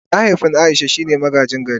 Mahaifin Aisha shine magaji gari.